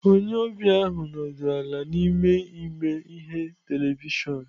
Onye ọbịa ahụ nọdụrụ ala n'ime ime ihe televịshịon.